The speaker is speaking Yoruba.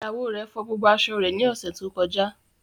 Iyạwo rẹ fo gbogbo aṣọ re ni ose to koja